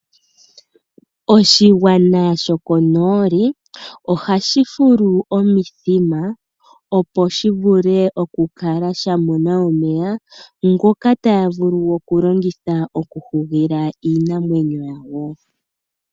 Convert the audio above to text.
Oshigwana shokonooli ohashi fulu omithima, opo shi vule okukala sha mona omeya ngoka taya vulu okulongitha okuhugila iinamwenyo yawo.